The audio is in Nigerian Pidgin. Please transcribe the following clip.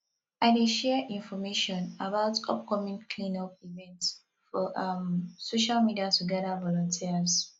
i dey share information about upcoming cleanup events for um social media to gather volunteers